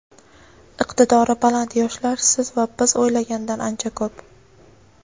iqtidori baland yoshlar siz va biz o‘ylagandan ancha ko‘p.